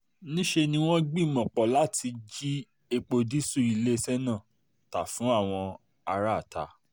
níṣẹ́ ni níṣẹ́ ni wọ́n gbìmọ̀ pọ̀ láti jí epo dììṣù iléeṣẹ́ náà ta fún àwọn aráátá